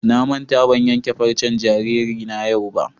Na manta ban ƴanke farcen jaririna yau ba.